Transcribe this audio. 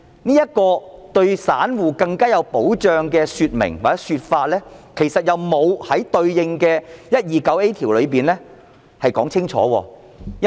然而，對於散戶更有保障的說明或說法，卻並沒有在對應的第 129A 條中清楚說明。